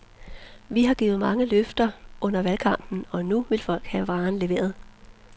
Vi har givet mange løfter under valgkampen, og nu vil folk have varen leveret.